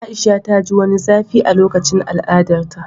A'isha ta ji wani zafi a lokacin al'adarta